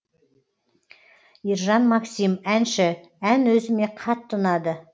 ержан максим әнші ән өзіме қатты ұнады